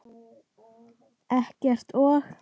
Eggert og